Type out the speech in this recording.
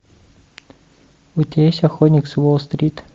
у тебя есть охотник с уолл стрит